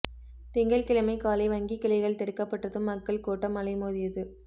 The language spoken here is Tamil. திங்கள்கிழமை காலை வங்கிக் கிளைகள் திறக்கப்பட்டதும் மக்கள் கூட்டம் அலைமோதியது